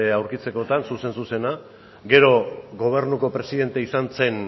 aurkitzekotan zuzen zuzena gero gobernuko presidente izan zen